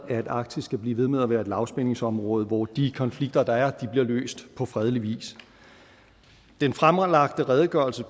at arktis skal blive ved med at være et lavspændingsområde hvor de konflikter der er bliver løst på fredelig vis den fremlagte redegørelse